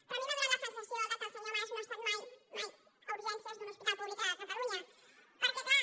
però a mi m’ha donat la sensació que el senyor mas no ha estat mai mai a urgències d’un hospital públic a catalunya perquè clar